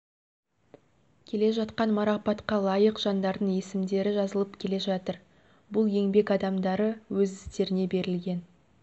келе жатқан марапатқа лайық жандардың есімдері жазылып келе жатыр бұл еңбек адамдары өз істеріне берілген